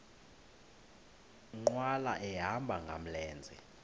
nkqwala ehamba ngamlenze